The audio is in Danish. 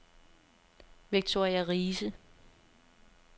Victoria Riise